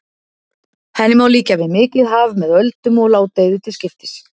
Henni má líkja við mikið haf með öldum og ládeyðu til skipta.